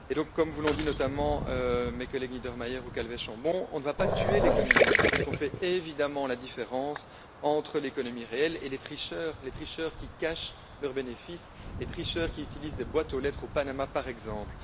Comme vous l'ont dit, notamment, mes collègues Niedermayer ou Calvet Chambon, on ne va pas tuer l'économie, puisqu'on fait évidemment la différence entre l'économie réelle et les tricheurs les tricheurs qui cachent leurs bénéfices, les tricheurs qui utilisent des boîtes aux lettres au Panama, par exemple.